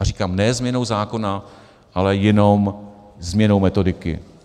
A říkám - ne změnou zákona, ale jenom změnou metodiky.